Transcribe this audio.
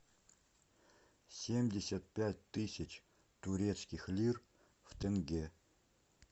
семьдесят пять тысяч турецких лир в тенге